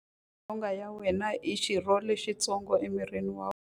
Nyonghwa ya wena i xirho xitsongo emirini wa wena.